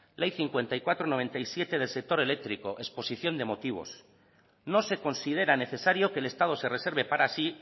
ley cincuenta y cuatro barra noventa y siete del sector eléctrico exposición de motivos no se considera necesario que el estado se reserve para sí